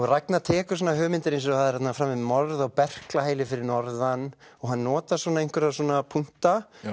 Ragnar tekur svona hugmyndir eins og það er framið morð á fyrir norðan og hann notar svona einhverja punkta